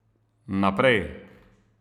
Naprej.